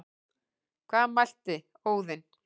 Hvað mælti Óðinn,